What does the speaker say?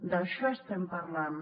d’això estem parlant